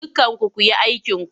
Dukkanku ku yi aikinku!